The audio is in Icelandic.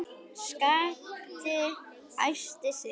Skapti æsti sig.